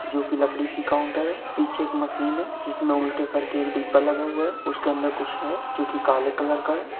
जो कि लकड़ी की काउन्टर है। पीछे एक मशीन है जिसमें एक उल्टे करके डिब्बा लगा हुआ है। उसके अंदर कुछ है जो कि काले कलर का है।